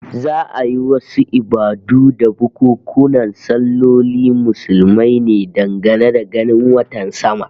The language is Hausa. Za'a yi wasu ibadu da bukunkunan sallolin Muslumai ne dangane da ganin watan sama